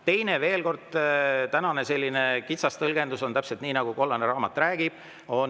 Teiseks, veel kord, tänane kitsas tõlgendus on täpselt see, nagu kollane raamat räägib,